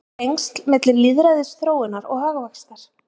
Eru tengsl milli lýðræðisþróunar og hagvaxtar?